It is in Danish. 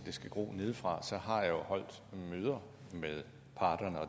skal gro nedefra har jeg holdt nogle møder med